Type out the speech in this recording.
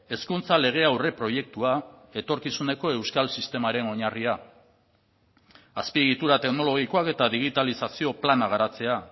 hezkuntza legea aurreproiektua etorkizuneko euskal sistemaren oinarria azpiegitura teknologikoak eta digitalizazio plana garatzea